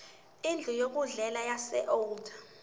indlu yokudlela yaseold